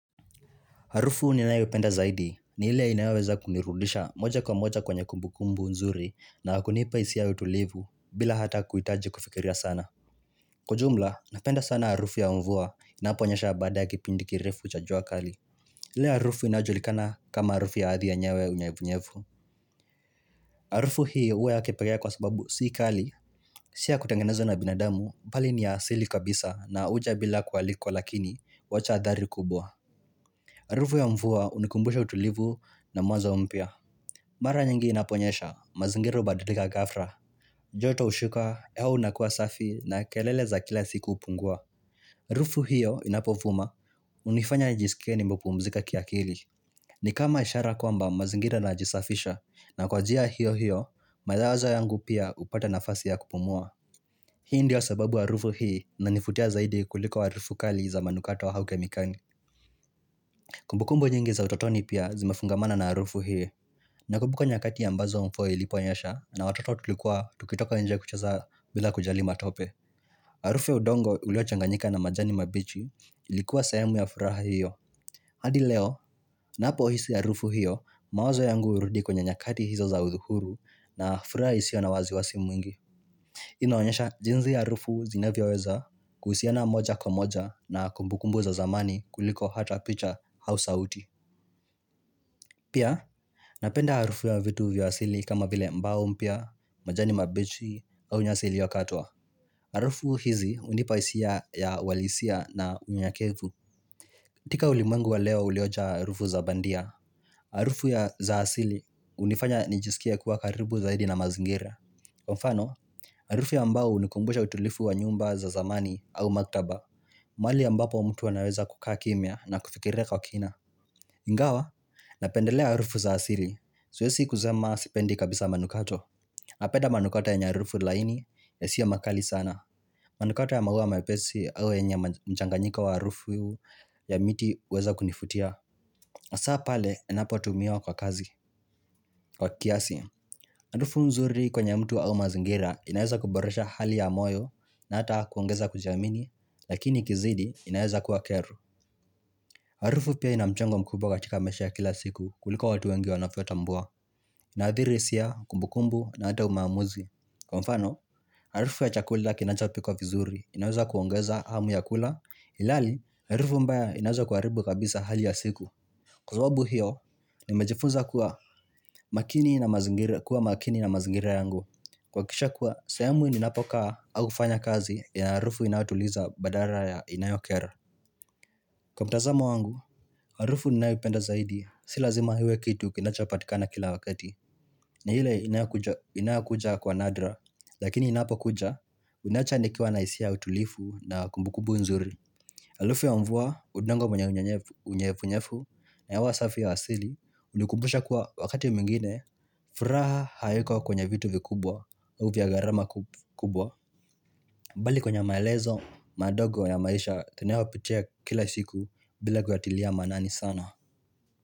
Harufu ninayo penda zaidi ni ile inaweza kunirudisha moja kwa moja kwenye kumbukumbu nzuri na kunipa hisia ya utulivu bila hata kuitaji kufikiria sana. Kwa jumla, napenda sana harufu ya mvua inaponyesha bada ya kipindi kirefu cha jua kali. Hile harufu inajulikana kama harufu ya ardhi yenyewe ya unyevunyevu. Harufu hii uwe yakipekee kwa sababu si kali, si ya kutangenezwa na binadamu, bali ni ya asili kabisa na uja bila kualikuwa lakini wacha athari kubwa. Arufu ya mvua unikumbusha utulivu na mwazo umpya. Mara nyingi inaponyesha, mazingira ubadalika gafla. Joto ushuka, hewa ukuwa safi na kelele za kila siku upungua. Arufu hiyo inapovuma, unifanya nijisikie nimepumzika kiakili. Ni kama ishara kwamba mazingira yanajisafisha na kwa njia hiyo hiyo, mawazo yangu pia upata nafasi ya kupumua. Hii ndio sababu arufu hii inanivutia zaidi kuliko arufu kali za manukato au kemikali. Kumbukumbu nyingi za utotoni pia zimefungamana na arufu hio Nakumbu nyakati ambazo mvua ilipo nyesha na watoto tulikuwa tukitoka nje kuchaza bila kujali matope Arufu ya udongo ulio changanyika na majani mabichi Ilikuwa sehemu ya furaha hiyo hadi leo napo hisi arufu hiyo mawazo yangu urudi kwenye nyakati hizo za udhuhuru na furaha isio na wasiwasi mwingi inaonyesha jinsi ya arufu zinavyoweza kuhusiana moja kwa moja na kumbukumbu za zamani kuliko hata picha au sauti Pia, napenda arufu ya vitu vya asili kama vile mbao mpya, majani mabichi au nyasi iliyokatwa, arufu hizi unipa hisia ya uwalisia na unyakevu katika ulimwengu wa leo uliojaa arufu za bandia Arufu ya za asili unifanya nijisikie kuwa karibu zaidi na mazingira Kwa mfano, arufu ya mbao unikumbusha utulifu wa nyumba za zamani au maktaba mahali ambapo mtu anaweza kukaa kimya na kufikire kwa kina Ingawa, napendelea arufu za asili siwezi kusema sipendi kabisa manukato Napenda manukato yenye arufu laini yasiwe makali sana manukato ya maua mepesi au yenye mchanganyiko wa arufu ya miti uweza kunifutia Asaa pale yanapo tumiwa kwa kazi, kwa kiasi Arufu nzuri kwenye mtu au mazingira inaeza kuboresha hali ya moyo na ata kuongeza kujiamini Lakini ikizidi inaeza kuwa kero Harufu pia inamchango mkubwa katika maisha ya kila siku kuliko watu wengi wanavyo tambua. Nadhihirisha, kumbukumbu na ata maamuzi. Kwa mfano, harufu ya chakula kinacha pikwa vizuri inaweza kuongeza hamu ya kula ilihali harufu mbaya inaweza kuaribu kabisa hali ya siku. Kwa sababu hiyo, nimejifuza kuwa makini na mazingira yangu. Kuhakikisha kuwa, sahemu ninapokaa au kufanya kazi ya harufu inayotuliza badala ya inayokera. Kwa mtazamo wangu, harufu ninaipenda zaidi, si lazima iwe kitu kinacha patikana kila wakati, ni ile inayokuja kwa nadra, lakini inapo kuja, inaacha nikiwa na hisia utulifu na kumbukumbu nzuri. Arufu ya mvuwa, udango wenye unyevu unyevu, na hewa safi ya asili, unikumbusha kuwa wakati mwingine, furaha haiko kwenye vitu vikubwa, ua garama kubwa, bali kwenye maelezo, madogo ya maisha tunayo pitia kila siku bila kuyatilia manani sana.